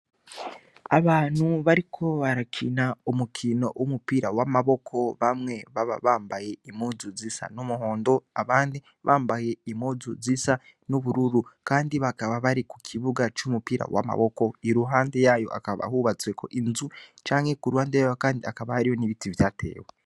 Abantu bariko barakina umukino w'umupira w'amaboko bamwe baba bambaye impuzu zisa n'umuhondo abandi bambaye impuzu zisa n'ubururu kandi bakaba bari kukibuga c'umupira w'amaboko iruhande yayo hakaba hubatsweko inzu canke kuruhande yayo kandi hakaba hariyo n'ibiti vyatewe.